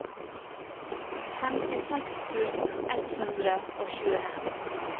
femtiseks tusen ett hundre og tjueen